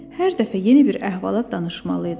Hər dəfə yeni bir əhvalat danışmalı idi.